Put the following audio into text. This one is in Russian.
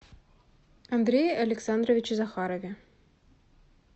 андрее александровиче захарове